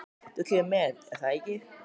Þú kemur með, er það ekki?